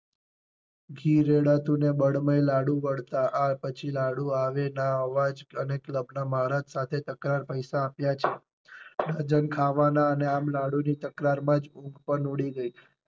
ઘી રેડાતું ને બળમય લાડુ બળતા આ પછી લાડુ આવે ના અવાજ અને ક્લબ ના માલિક ના સાથે તકરાર પૈસા આપ્યા છે. ત્યાં જઈ ખાવા ના જ અને લાડુ ની તકરાર માં જ ઉંધ ઊડી ગઈ.